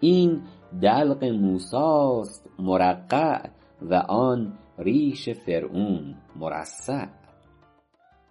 این دلق موسی است مرقع و آن ریش فرعون مرصع